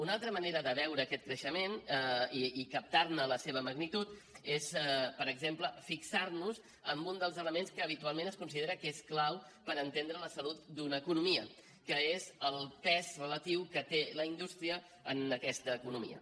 una altra manera de veure aquest creixement i captar ne la seva magnitud és per exemple fixar nos en un dels elements que habitualment es considera que és clau per entendre la salut d’una economia que és el pes relatiu que té la indústria en aquesta economia